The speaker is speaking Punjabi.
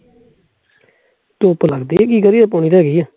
ਧੁੱਪ ਲੱਗਦੀ ਐ ਕੀ ਕਰੀਏ